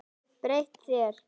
Breytt þér.